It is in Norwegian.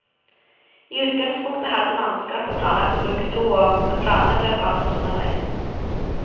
I utgangspunktet hadde mannskapet planlagt å bruke to år, men planene ble forandret underveis.